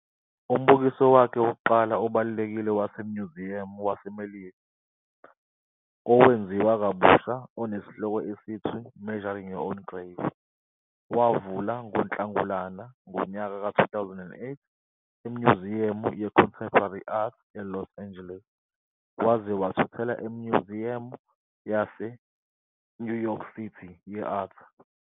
Umbukiso wakhe wokuqala obalulekile waseMnyuziyamu waseMelika, owenziwa kabusha onesihloko esithi "Measuring Your Own Grave", wavula ngoNhlangulana ngonyaka ka 2008 eMnyuziyamu yeContemporary Art, eLos Angeles, waze wathuthela eMnyuziyamu ye-Art eNew York City.